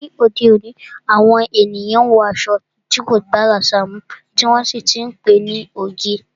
Ni òde òní, àwọn ènìyàn wọ aṣọ tí kò bá àṣà mu, tí wọ́n sì ti ń pe ní oge.